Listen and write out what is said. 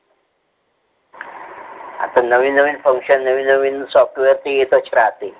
आथा नवीन-नवीन function नवीन-नवीन software तर येतच राहते.